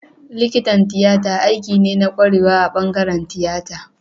Likitan tiyata aiki ne na kwarewa a bangaren tiyata